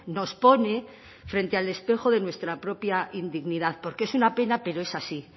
nos pone frente al espejo de nuestra propia indignidad porque es una pena pero es así